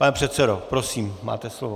Pane předsedo, prosím, máte slovo.